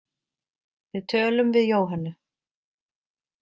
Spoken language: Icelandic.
Við tölum við Jóhönnu.